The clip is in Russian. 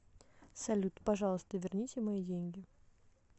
салют пожалуйста верните мои деньги